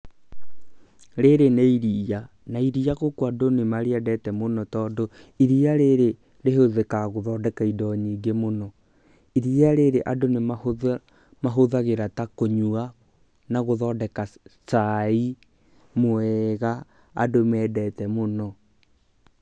Rĩrĩ nĩ iria na iria gũkũ andũ nĩ marĩendete mũno, tondũ iria rĩrĩ rĩhũthĩkaga gũthondeka indo nyingĩ mũno. Iria rĩrĩ andũ nĩ mahũthagĩra ta kũnyua na gũthondeka caai mwega andũ mendete mũno.